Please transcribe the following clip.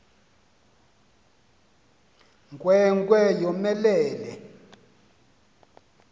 nkwe nkwe yomelele